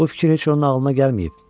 Bu fikir heç onun ağlına gəlməyib.